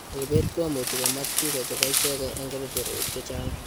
Ribet ko much komach biko chebo ichegee eng' kebeberwek chechang'.